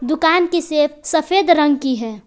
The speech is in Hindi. दुकान की सेप सफेद रंग की है।